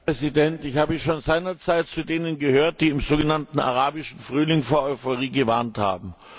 Herr Präsident! Ich habe schon seinerzeit zu denen gehört, die im sogenannten Arabischen Frühling vor Euphorie gewarnt haben.